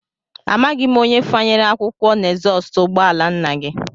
Amaghị m onye fanyere akwụkwọ n'ezọstụ ụgbọala nna gị